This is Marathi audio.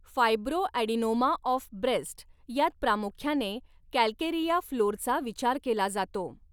फायब्रोॲडिनोमा ऑफ ब्रेस्ट यात प्रामुख्याने कॅल्केरिया फ्लोरचा विचार केला जातो.